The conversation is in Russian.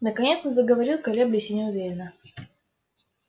наконец он заговорил колеблясь и неуверенно